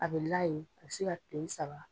A bɛ la yen a bɛ se ka kile saba.